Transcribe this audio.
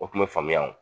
O kun bɛ faamuya o